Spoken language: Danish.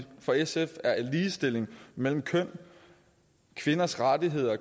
for sf er ligestilling mellem køn kvinders rettigheder